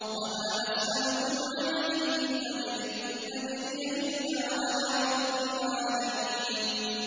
وَمَا أَسْأَلُكُمْ عَلَيْهِ مِنْ أَجْرٍ ۖ إِنْ أَجْرِيَ إِلَّا عَلَىٰ رَبِّ الْعَالَمِينَ